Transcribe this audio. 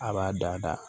A b'a dada